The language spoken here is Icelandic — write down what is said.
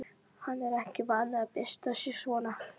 Hann er ekki vanur að byrsta sig svona.